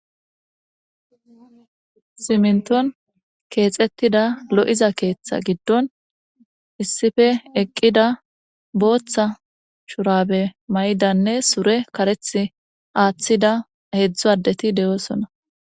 siminton keexettida lo7iza keeththa giddon issife eqqida booththa shurabe may7idanne sure kareth aaththida heedzdzu addeti de7oosona